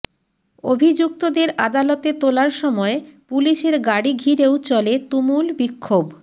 অভিযুক্তদের আদালতে তোলার সময় পুলিশের গাড়ি ঘিরেও চলে তুমুল বিক্ষোভ